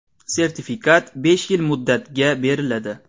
Sertifikat besh yil muddatga beriladi.